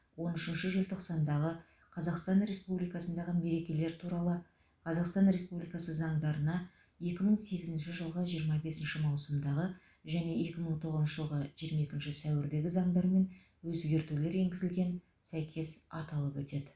он үшінші желтоқсандағы қазақстан республикасындағы мерекелер туралы қазақстан республикасы заңдарына екі мың сегізінші жылғы жиырма бесінші маусымдағы және екі мың тоғызыншы жылғы жиырма екінші сәуірдегі заңдармен өзгертулер енгізілген сәйкес аталып өтеді